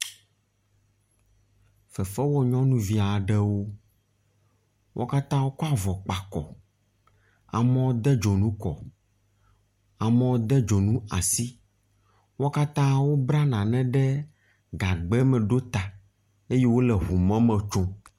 Fefewɔ nyɔnuviawo, wo katã wokɔ avɔ kpa akɔ, amewo de dzonu kɔ, amewo de dzonu asi. Wo katã wobla nane ɖe gagbɛ me ɖo ta eye wole ŋu mɔ me tsom.